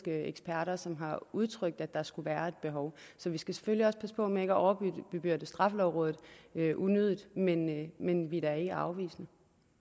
eksperter som har udtrykt at der skulle være et behov så vi skal selvfølgelig også passe på med ikke at overbebyrde straffelovrådet unødigt men men vi er da ikke afvisende